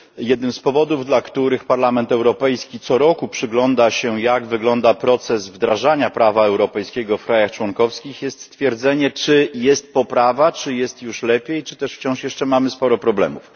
Jednym z powodów, dla których Parlament Europejski co roku przygląda się, jak wygląda proces wdrażania prawa europejskiego w państwach członkowskich, jest stwierdzenie, czy nastąpiła poprawa, czy jest już lepiej, czy też wciąż mamy sporo problemów.